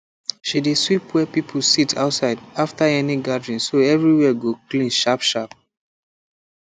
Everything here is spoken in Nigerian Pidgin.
she dey sweep where people sit outside after any gathering so everywhere go clean sharpsharp